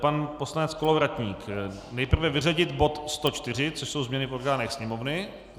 Pan poslanec Kolovratník, nejprve vyřadit bod 104, což jsou změny v orgánech Sněmovny.